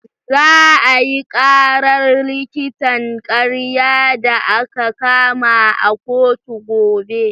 Za a yi ƙarar likitan ƙarya da aka kama a kotu gobe.